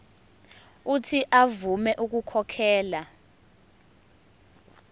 uuthi avume ukukhokhela